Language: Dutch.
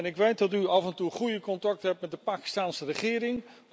En ik weet dat u af en toe goede contacten hebt met de Pakistaanse regering.